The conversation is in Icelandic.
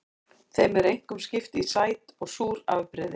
Þeim er einkum skipt í sæt og súr afbrigði.